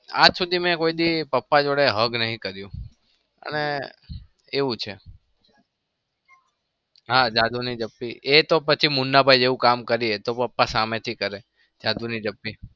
આજ સુધી મેં કોઈ દિવસ પાપા જોડે hug નહી કર્યું અને એવું છે હા જાદુની જપ્પી એતો પછી મુન્ના ભાઈ જેવું કામ કર્યું હોય તો પાપા સામેથી કરે.